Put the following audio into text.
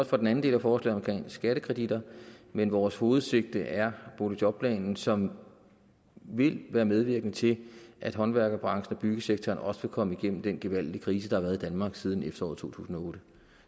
for den anden del af forslaget om skattekreditter men vores hovedsigte er boligjobplanen som vil være medvirkende til at håndværkerbranchen og byggesektoren også vil komme igennem den gevaldige krise der har været i danmark siden efteråret to tusind og otte